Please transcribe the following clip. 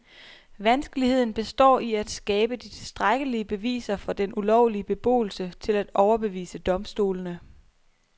Vanskeligheden består i at skabe de tilstrækkelige beviser for den ulovlige beboelse til at overbevise domstolene.